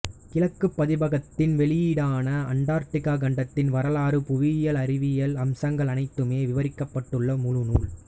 கிழக்கு பதிப்பகத்தின் வெளியீடான அண்டார்டிகா கண்டத்தின் வரலாறு புவியியல் அறிவியல் அம்சங்கள் அனைத்துமே விவரிக்கப்பட்டுள்ள முழுநூல்